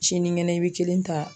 Siniŋɛnɛ i be kelen ta